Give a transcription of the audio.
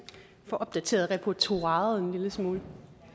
få opdateret repertoiret en lille smule